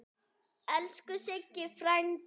Elsku Siggi frændi.